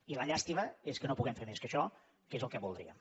i la llàstima és que no hi puguem fer més que això que és el que voldríem